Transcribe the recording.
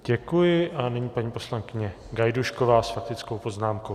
Děkuji a nyní paní poslankyně Gajdůšková s faktickou poznámkou.